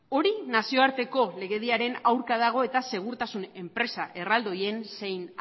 hori nazioarteko legediaren aurka dago eta segurtasun enpresa erraldoien zein